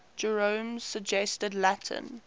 jerome's suggested latin